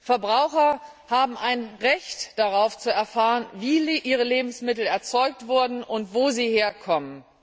Verbraucher haben ein Recht darauf, zu erfahren, wie ihre Lebensmittel erzeugt wurden und woher sie kommen.